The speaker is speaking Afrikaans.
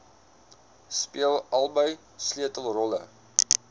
speel albei sleutelrolle